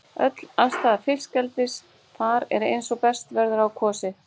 Öll aðstaða til fiskeldis þar er eins og best verður á kosið.